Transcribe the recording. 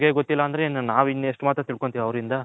ಅವರಿಗೆ ಗೊತ್ತಿಲ್ಲ ಅಂದ್ರೆ ಇನ್ನ ನಾವ್ ಎಷ್ಟ್ ಮಾತ್ರ ತಿಲ್ಕೊಂತಿವಿ ಅವರಿಂದ .